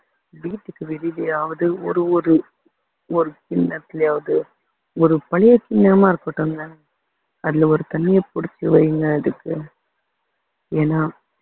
வீட்டுக்கு வெளியிலயாவது ஒரு ஒரு ஒரு கிண்ணத்துலயாவது ஒரு பழைய கிண்ணமா இருக்கட்டுங்க அதுல ஒரு தண்ணிய புடிச்சு வையுங்க அதுக்கு ஏன்னா